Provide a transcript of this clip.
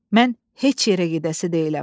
Mən heç yerə gedəsi deyiləm.